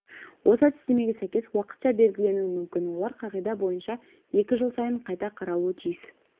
осы әдістемеге сәйкес уақытша белгіленуі мүмкін олар қағида бойынша екі жыл сайын қайта қаралуы тиіс